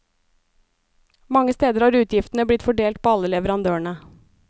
Mange steder har utgiftene blitt fordelt på alle leverandørene.